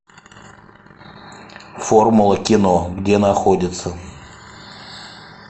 формула кино где находится